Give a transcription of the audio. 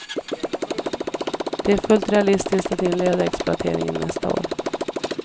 Det är fullt realistiskt att inleda exploateringen nästa år.